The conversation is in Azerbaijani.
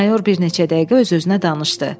Mayor bir neçə dəqiqə öz-özünə danışdı.